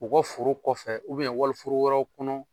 U kɔ foro kɔfɛ wali foro wɛrɛw kɔnɔ.